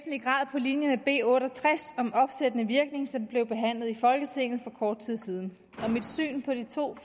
linje med b otte og tres om opsættende virkning som blev behandlet i folketinget for kort tid siden og mit syn på de to